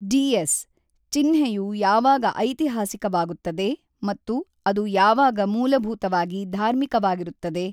DS: ಚಿಹ್ನೆಯು ಯಾವಾಗ ಐತಿಹಾಸಿಕವಾಗುತ್ತದೆ ಮತ್ತು ಅದು ಯಾವಾಗ ಮೂಲಭೂತವಾಗಿ ಧಾರ್ಮಿಕವಾಗಿರುತ್ತದೆ?